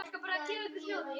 Oftast var þó sungið.